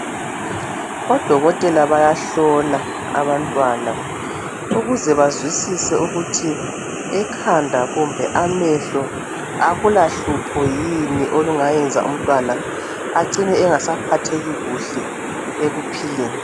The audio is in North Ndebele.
Odokotela bayahlola abantwana ukuze bazwisise ukuthi ekhanda kumbe amehlo akulahlupho yini olungayenza umntwana acine engasaphatheki kuhle ekuphileni.